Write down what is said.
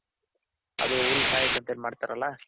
ಅದು ಹುಳ ಸಾಯಕ್ ಅಂತ ಏನ್ ಮಾಡ್ತಾರಲ್ಲ